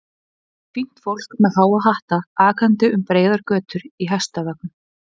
Hún sá fínt fólk með háa hatta akandi um breiðar götur í hestvögnum.